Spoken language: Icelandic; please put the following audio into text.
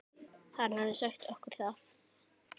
Hann hafði sagt okkur það.